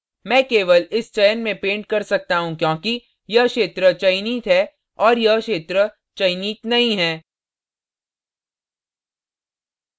मैं केवल इस चयन में paint कर सकता हूँ क्योंकि यह क्षेत्र चयनित है और यह क्षेत्र चयनित नहीं है